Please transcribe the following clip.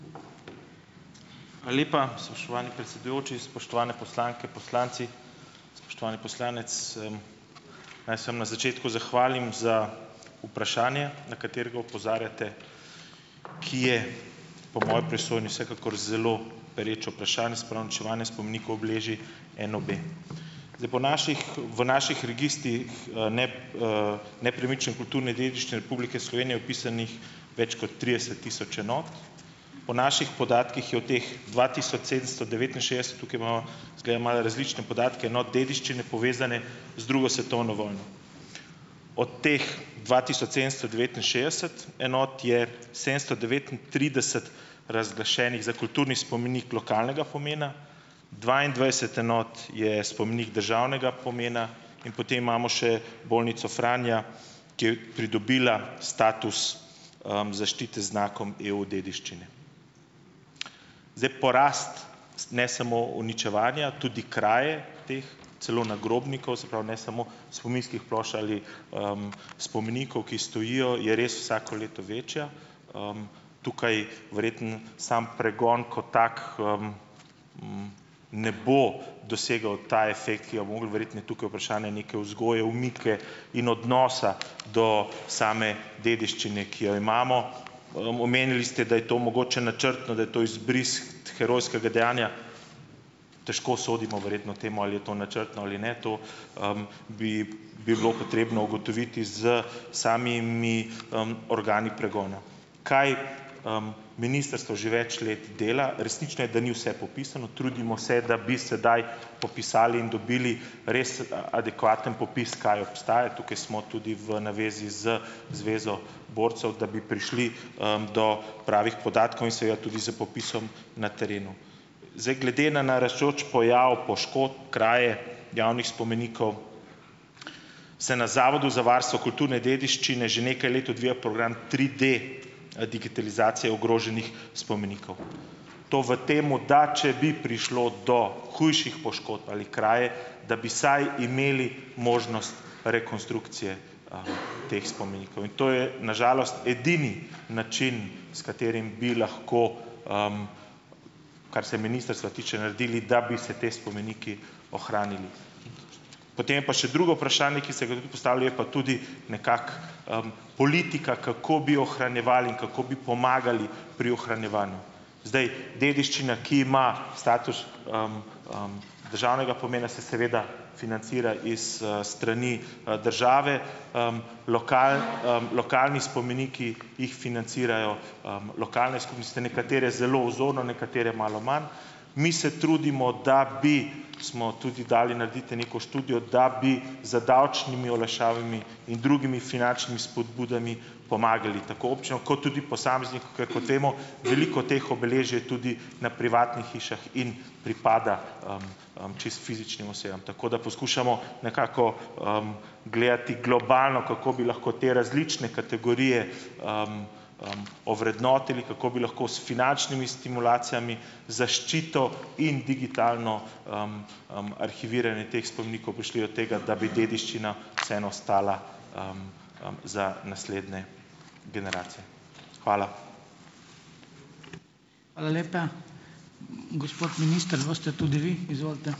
Hvala lepa, spoštovani predsedujoči, spoštovane poslanke in poslanci. Spoštovani poslanec, naj se, am, na začetku zahvalim za vprašanje, na katerega opozarjate, ki je po moji presojni vsekakor zelo pereče vprašanje, se pravi uničevanje spomenikov obeležij NOB. Zdaj, po naših v naših registrih, ne, nepremične kulturne dediščine Republike Slovenije je vpisanih več kot trideset tisoč enot. Po naših podatkih je od teh dva tisoč sedemsto devetinšestdeset - tukaj imava, izgleda, malo različne podatke, no - dediščine, povezane z drugo svetovno vojno. Od teh dva tisoč sedemsto devetinšestdeset enot je sedemsto devetintrideset razglašenih za kulturni spomenik lokalnega pomena, dvaindvajset enot je spomenik državnega pomena in potem imamo še bolnico Franja, ki je pridobila status, zaščite z znakom EU-dediščine. Zdaj, porast - s ne samo uničevanja, tudi kraje teh, celo nagrobnikov - se pravi, ne samo spominskih plošč ali, spomenikov, ki stojijo - je res vsako leto večja. Tukaj verjetno samo pregon kot tak, ne bo dosegel ta efekt, ki ga bi mogli - verjetno je tukaj vprašanje neke vzgoje, omike in odnosa do same dediščine, ki jo imamo. Omenili ste, da je to mogoče načrtno. Da je to izbris herojskega dejanja. Težko sodimo verjetno temu, ali je to načrtno ali ne. To, bi bi bilo potrebno ugotoviti s samimi, organi pregona. Kaj, ministrstvo že več let dela? Resnično je, da ni vse popisano. Trudimo se, da bi sedaj popisali in dobili res, adekvaten popis, kaj obstaja - tukaj smo tudi v navezi z Zvezo borcev, da bi prišli, do pravih podatkov, in seveda tudi s popisom na terenu. Zdaj, glede na naraščajoč pojav poškodb, kraje javnih spomenikov, se na Zavodu za varstvo kulturne dediščine že nekaj let odvija program triD, digitalizacije ogroženih spomenikov. To v tem, da če bi prišlo do hujših poškodb ali kraje, da bi vsaj imeli možnost rekonstrukcije, teh spomenikov. In to je na žalost edini način, s katerim bi lahko, kar se ministrstva tiče, naredili, da bi se ti spomeniki ohranili. Potem je pa še drugo vprašanje, ki ste ga tudi vi postavili, je pa tudi nekako, politika, kako bi ohranjevali in kako bi pomagali pri ohranjevanju. Zdaj, dediščina, ki ima status, državnega pomena, se seveda financira iz, strani, države. Lokal, Lokalni spomeniki jih financirajo, lokalne skupnosti, nekatere zelo vzorno, nekatere malo manj. Mi se trudimo, da bi, smo tudi dali narediti neko študijo, da bi z davčnimi olajšavami in drugimi finančnimi spodbudami pomagali tako občini kot tudi posamezniku, ker kot vemo, veliko teh obeležij je tudi na privatnih hišah in pripada, čisto fizičnim osebam. Tako da poskušamo nekako, gledati globalno, kako bi lahko te različne kategorije, ovrednotili, kako bi lahko s finančnimi stimulacijami, zaščito in digitalno, arhiviranje teh spomenikov prišli do tega, da bi dediščina vseeno ostala, za naslednje generacije. Hvala.